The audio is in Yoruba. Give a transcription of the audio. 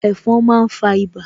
Ẹ̀fon máa ń fa ibà